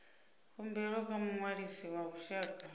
khumbelo kha muṅwalisi wa vhushaka